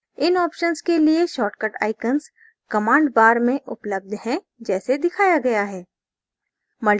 इन operations के लिए short icons command bar में उपलब्ध हैं जैसे दिखाया गया है